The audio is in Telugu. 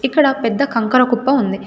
ఇక్కడ పెద్ద కంకర కుప్ప ఉంది.